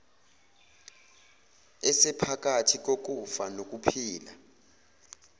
esephakathi kokufa nokuphila